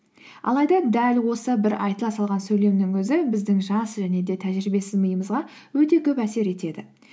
алайда дәл осы бір айтыла салған сөйлемнің өзі біздің жас және де тәжірибесіз миымызға өте көп әсер етеді